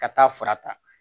Ka taa fara ta